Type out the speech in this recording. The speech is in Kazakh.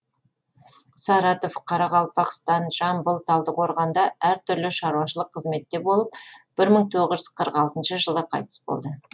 саратов қарақалпақстан жамбыл талдықорғанда әр түрлі шаруашылық қызметте болып бір мың тоғыз жүз қырық алтыншы жылы қайтыс болды